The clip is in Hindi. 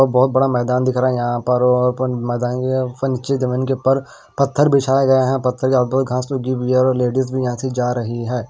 बहुत बड़ा मैदान दिख रहा है यहां पर और ओपन मैदान के जमीन के उपर पत्थर बिछाए गए हैं पत्थर के घांस लगी हुई है और लेडीज़ भी यहां से जा रही हैं।